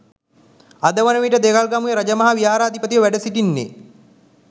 අද වන විට දෙල්ගමුව රජමහා විහාරාධිපතිව වැඩ සිටින්නේ